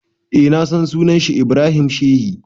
Eh na san sa, sunan shi Ibrahim Sheshi.